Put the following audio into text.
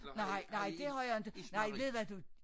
Nej nej det har jeg inte nej ved hvad du